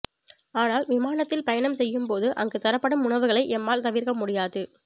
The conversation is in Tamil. ஆனால் விமானத்தில் பயணம் செய்யும் போது அங்கு தரப்படும் உணவுகளை எம்மால் தவிர்க்க முடியாது